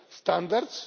standards.